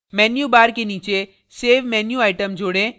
menu bar के नीचे save menu item जोडें